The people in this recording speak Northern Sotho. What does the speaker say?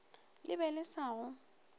le be le sa go